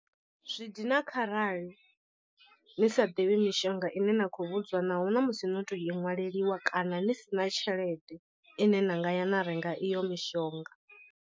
Zwi dina kharali ni sa ḓivhi mishonga ine na kho vhudzwa naho na musi no to i ṅwaleliwa kana ni sina tshelede ine na nga ya na renga iyo mishonga.